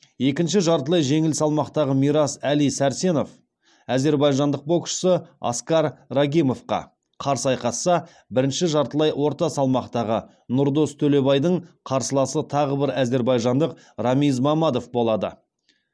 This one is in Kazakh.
екінші жартылай жеңіл салмақтағы мирас әли сәрсенов әзербайжандық боксшы аскар рагимовқа қарсы айқасса бірінші жартылай орта салмақтағы нұрдос төлебайдың қарсыласы тағы бір әзербайжандық рамиз мамадов болады